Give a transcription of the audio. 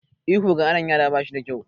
Ihu ga ƙananan yara ba shi da kyau.